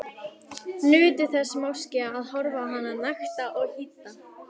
Nutu þess máske að horfa á hana nakta og hýdda.